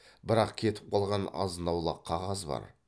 бірақ кетіп қалған азын аулақ қағаз бар